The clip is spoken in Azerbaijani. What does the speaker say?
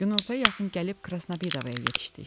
Günortaya yaxın gəlib Krasnəbidovaya yetişdik.